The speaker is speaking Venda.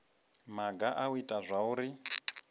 maga a u ita zwauri